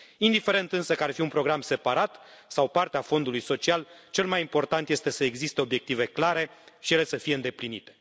Indiferent însă că ar fi un program separat sau parte a Fondului social, cel mai important este să existe obiective clare și ele să fie îndeplinite.